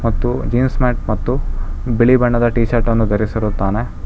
ಮತ್ತು jeans pant ಮತ್ತು ಬಿಳಿ ಬಣ್ಣದ ಟಿಶರ್ಟ್ ಅನ್ನು ದರಿಸಿರುತ್ತಾನೆ.